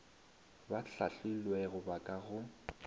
ba hlahlilwego ba ka go